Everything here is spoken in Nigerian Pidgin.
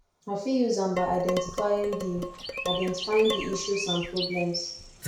i fit use am by identifying di identifying di issues and problems